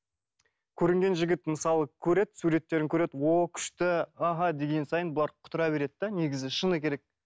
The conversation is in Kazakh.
көрінген жігіт мысалы көреді суреттерін көреді ооо күшті аха деген сайын бұлар құтыра береді де негізі шыны керек